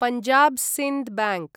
Punjab Sind bank